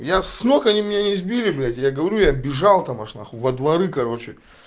я с ног они меня не сбили блядь я говорю я бижал там во дворы короче